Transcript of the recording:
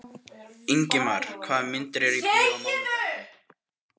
Ingimar, hvaða myndir eru í bíó á mánudaginn?